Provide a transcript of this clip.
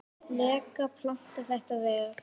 lega planað þetta vel.